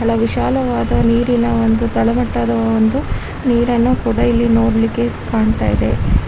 ಬಹಳ ವಿಶಾಲವಾದ ನೀರಿನ ಒಂದು ತಳಮಟ್ಟಾದ ಒಂದು ನೀರನ್ನು ಕೂಡ ಇಲ್ಲಿ ನೋಡ್ಲಿಕೆ ಕಾಣತ್ತಿದೆ.